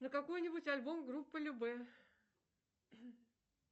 на какой нибудь альбом группы любэ